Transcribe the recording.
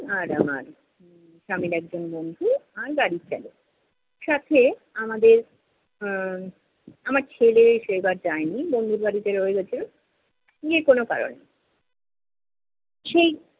আর আমার স্বামীর একজন বন্ধু আর গাড়ির চালক। সাথে, আমাদের উহ আমার ছেলে সেই বার যায়নি বন্ধুর বাড়িতে রয়ে গেছে যে কোনো কারণে। সেই